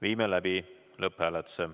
Viime läbi lõpphääletuse.